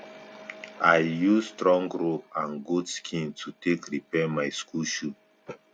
i use strong rope and goat skin to take repair my school shoe